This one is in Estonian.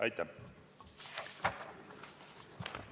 Aitäh!